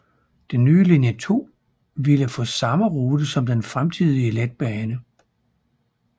Den nye linje 2 ville få samme rute som den fremtidige letbane